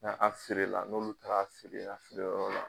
N an la n'olu ta a